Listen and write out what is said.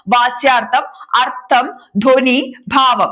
വാച്യാർത്ഥം, അർഥം, ധ്വനി, ഭാവം